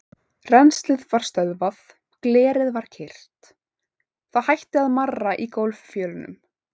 Rennslið var stöðvað, glerið var kyrrt, það hætti að marra í gólffjölunum.